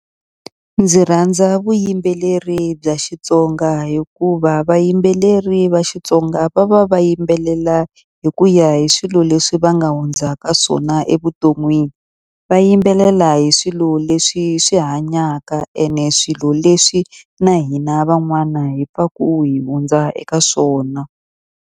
Ndzi rhandza vuyimbeleri bya Xitsonga hikuva vayimbeleri va Xitsonga va va va yimbelela hi ku ya hi swilo leswi va nga hundza ka swona na le vuton'wini. Va yimbelela hi swilo leswi swi hanyaka ene swilo leswi na hina van'wana hi pfaku hi hundza eka swona.